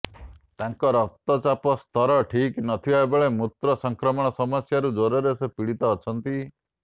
ତାଙ୍କ ରକ୍ତଚାପ ସ୍ତର ଠିକ୍ ନ ଥିବାବେଳେ ମୂତ୍ର ସଂକ୍ରମଣ ସମସ୍ୟାରୁ ଜ୍ୱରରେ ସେ ପୀଡ଼ିତ ଅଛନ୍ତି